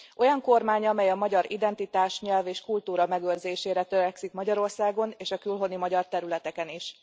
Olyan kormánya, amely a magyar identitás, nyelv és kultúra megőrzésére törekszik Magyarországon, és a külhoni magyar területeken is.